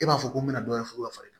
E b'a fɔ ko n bɛ na dɔ fɔ ka far'i kan